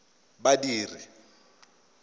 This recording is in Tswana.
badiri